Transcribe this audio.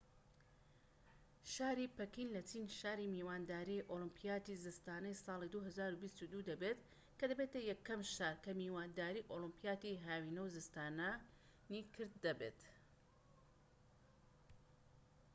شاری پەکین لە چین شاری میوانداری ئۆلیمپیاتی زستانەی ساڵی 2022 دەبێت کە دەبێتە یەکەم شار کە میوانداری ئۆلیمپیاتی هاوینە و زستانی کرد بێت